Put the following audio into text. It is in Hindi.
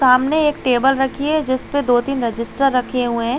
सामने एक टेबल रखी है जिसपे दो तीन रेसिस्टर रखे हुए है।